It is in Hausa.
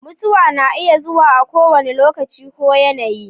Mutuwa na iya zuwa a kowane lokaci ko yanayi.